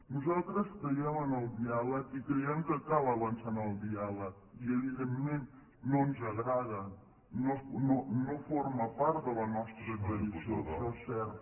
nosaltres creiem en el diàleg i creiem que cal avançar en el diàleg i evidentment no ens agrada no forma part de la nostra tradició això és cert